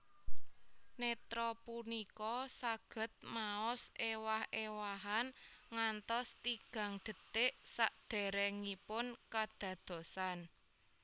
Nétra punika saged maos ewah ewahan ngantos tigang detik saderengipun kadadosan